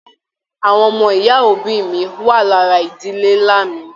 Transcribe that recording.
Àwọn ọmọ ìyá òbí mí wá lára ìdílé nlá mí.